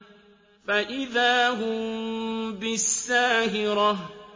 فَإِذَا هُم بِالسَّاهِرَةِ